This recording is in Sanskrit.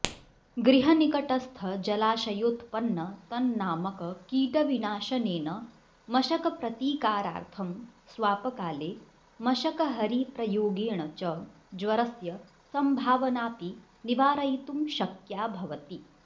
गृहनिकटस्थ जलाशयोत्पन्नतन्नामककीटविनाशनेन मशकप्रतीकारार्थं स्वापकाले मशकहरीप्रयोगेण च ज्वरस्य सम्भावनाऽपि निवारयितुं शक्या भवति